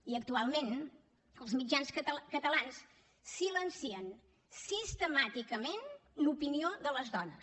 i actualment els mitjans catalans silencien sistemàticament l’opinió de les dones